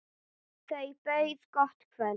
Þau buðu gott kvöld.